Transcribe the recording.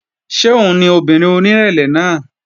Ṣé òun ni obìnrin onírẹ̀lẹ̀ náà?